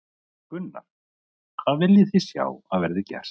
Gunnar: Hvað viljið þið sjá að verði gert?